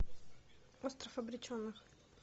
остров обреченных